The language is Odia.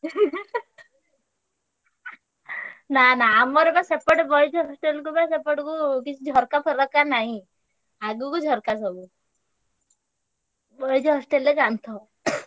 ନା ନା ଆମର ବା ସେପଟେ boys hostel କୁ ବା ସେପଟକୁ କିଛି ଝରକା ଫରକା ନାଇଁ। ଆଗୁକୁ ଝରକା ସବୁ। boys hostel ରେ ଜାଣିଥିବ